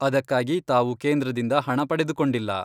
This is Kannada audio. ಅದಕ್ಕಾಗಿ ತಾವು ಕೇಂದ್ರದಿಂದ ಹಣ ಪಡೆದುಕೊಂಡಿಲ್ಲ.